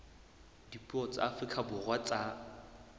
dipuo tsa afrika borwa tsa